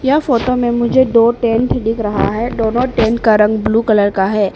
यह फोटो में मुझे दो टेंट दिख रहा है दोनों टेंट का रंग ब्लू कलर का है।